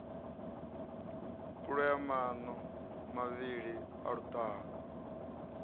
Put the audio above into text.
kulea maṋo mavhili a luṱaha